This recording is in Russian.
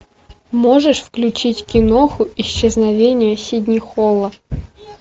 можешь включить киноху исчезновение сидни холла